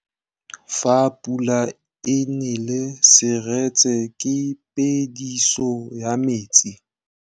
Fa pula e nelê serêtsê ke phêdisô ya metsi.